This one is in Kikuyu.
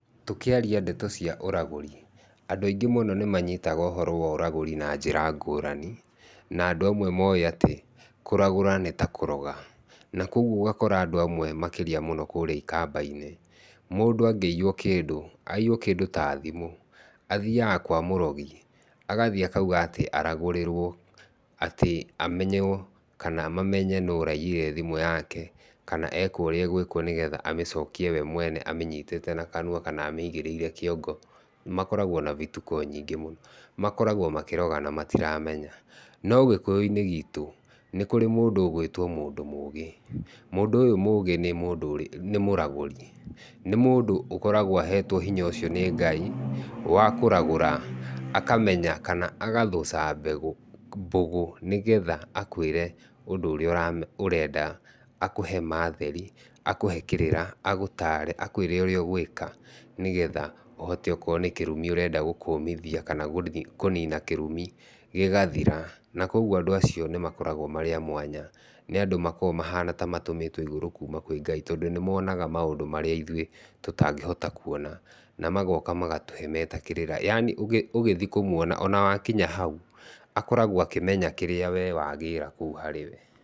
Tũkĩaria ndeto cia ũragũri ,andũ aingĩ mũno nĩ manyitaga ũhoro wa ũragũri na njĩra ngũrani, na andũ amwe moĩ atĩ kũragũra nĩ ta kũroga. Na koguo ũgakora andũ amwe makĩhĩtia mũno kũrĩa ikamba-inĩ , mũndũ angĩiywo kĩndũ aiywo kĩndũ ta thimũ athiaga kwa mũrogi agathiĩ akauga atĩ aragũrĩrwo atĩ amenywo kana mamenye atĩ nũũ ũraiyire thimũ yake, kana ekwo ũrĩaegwĩkwo nĩ getha amĩcokie we mwene amĩnyitĩte na kanua kana amĩigĩrĩire kĩongo. Makoragwo na bituko nyingĩ mũno, makoragwo makĩroga na matiramenya. No gĩkũyũ-inĩ gitũ nĩ kũrĩ mũndũ ũgwĩtwo mũndũ mũgĩ, mũndũ ũyũ mũgĩ nĩ mũragũri nĩ mũndũ akoragwo ahetwo hinya ũcio nĩ Ngai wa kũragũra akamenya kana agathũca mbegũ, mbũgũ nĩ getha akũĩre ũndũ ũrĩa ũrenda akũhe ma theri, akũhe kĩrĩra, agũtare akũĩre ũrĩa ũgwĩka, nĩ getha ũhote akorwo nĩ kĩrumi ũrenda gũkũmithia kana kũnina kĩrumi gĩgathira. Na koguo andũ acio nĩ makoragwo marĩ a mwanya nĩ andũ makoragwo maha ta matũmĩtwo igũrũ kuma kwĩ Ngai tondũ nĩ monaga maũndũ marĩa ithui tũtangĩhota kuona. Na magoka magatũhe meta kĩrĩra yani ũgĩthiĩ kũmuona ona wakinya hau akoragwo akĩmenya kĩrĩa wee wagĩra kũu harĩ we.